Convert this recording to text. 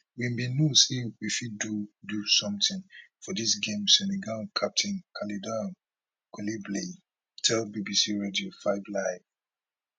we bin know say we fit do do something for dis game senegal captain kalidou koulibaly tell bbc radio 5 live